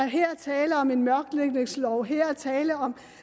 her er tale om en mørklægningslov her er tale om